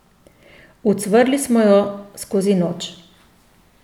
Ucvrli smo jo skozi noč.